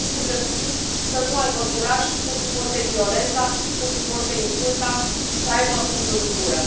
Copiii sunt crescuți să nu aibă curaj, să suporte violența, să suporte insulta și să aibă pumnul în gură.